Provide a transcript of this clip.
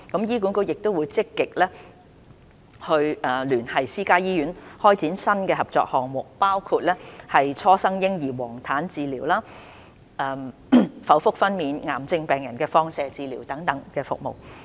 醫管局亦積極聯繫私家醫院開展新的合作項目，包括初生嬰兒黃疸治療、剖腹分娩、癌症病人放射治療等服務。